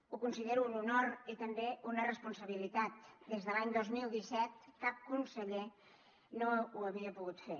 ho considero un honor i també una responsabilitat des de l’any dos mil disset cap conseller no ho havia pogut fer